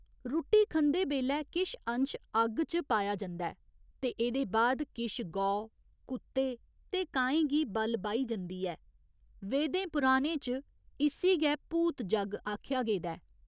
रुट्टी खंदे बेल्लै किश अंश अग्ग च पाएया जंदा ऐ ते एह्दे बाद किश गौ, कुत्ते ते काएं गी बल बाही जंदी ऐ, वेदें पुराणें च इस्सी गै भूत जग्ग आखेआ गेदा ऐ।